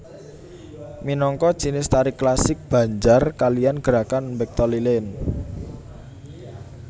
Minangka jinis tari klasik Banjar kaliyan gerakan mbekta lilin